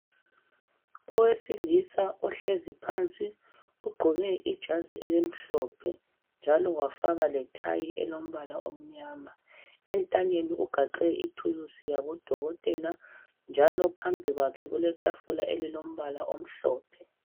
owesilisa ohlezi phansi ogqoke ijazi elimhlophe njalo wagqoka letayi elimnyama entanyeni aluma thuluzi wabo dokotela njalo phambi kwakhe kuletafula elilombala ohlophe.